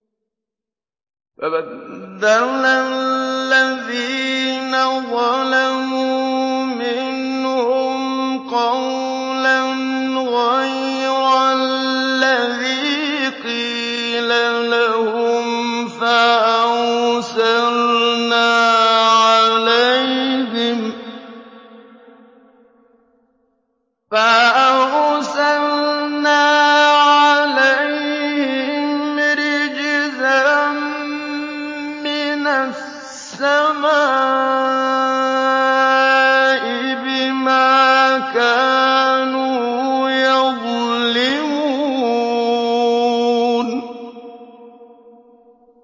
فَبَدَّلَ الَّذِينَ ظَلَمُوا مِنْهُمْ قَوْلًا غَيْرَ الَّذِي قِيلَ لَهُمْ فَأَرْسَلْنَا عَلَيْهِمْ رِجْزًا مِّنَ السَّمَاءِ بِمَا كَانُوا يَظْلِمُونَ